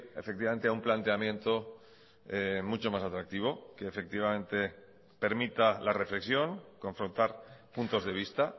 efectivamente a un planteamiento mucho más atractivo que efectivamente permita la reflexión confrontar puntos de vista